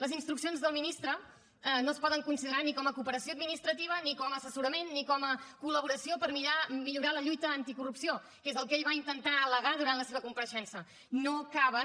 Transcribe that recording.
les instruccions del ministre no es poden considerar ni com a cooperació administrativa ni com a assessorament ni com a col·laboració per millorar la lluita anticorrupció que és el que ell va intentar al·legar durant la seva compareixença no caben